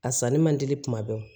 A sanni man teli kuma bɛɛ